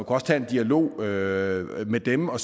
også tage en dialog med med dem og